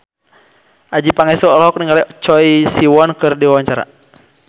Adjie Pangestu olohok ningali Choi Siwon keur diwawancara